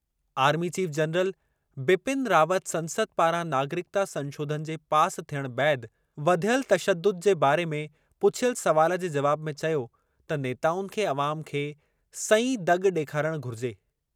Army chief general Bipin Rawat संसद पारां नागरिकता संशोधन जे पास थियणु बैदि वधियल तशदुद जे बारे में पुछियल सवाल जे जवाब में चयो त नेताउनि खे अवाम खे सईं दॻि ॾेखारणु घुरिजे।